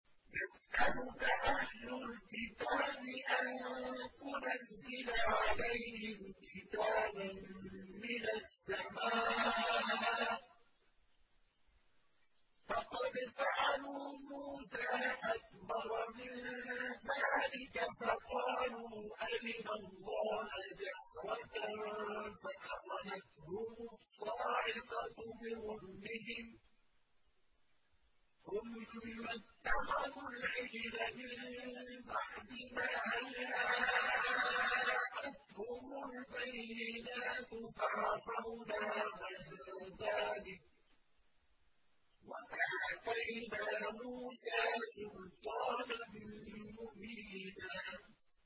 يَسْأَلُكَ أَهْلُ الْكِتَابِ أَن تُنَزِّلَ عَلَيْهِمْ كِتَابًا مِّنَ السَّمَاءِ ۚ فَقَدْ سَأَلُوا مُوسَىٰ أَكْبَرَ مِن ذَٰلِكَ فَقَالُوا أَرِنَا اللَّهَ جَهْرَةً فَأَخَذَتْهُمُ الصَّاعِقَةُ بِظُلْمِهِمْ ۚ ثُمَّ اتَّخَذُوا الْعِجْلَ مِن بَعْدِ مَا جَاءَتْهُمُ الْبَيِّنَاتُ فَعَفَوْنَا عَن ذَٰلِكَ ۚ وَآتَيْنَا مُوسَىٰ سُلْطَانًا مُّبِينًا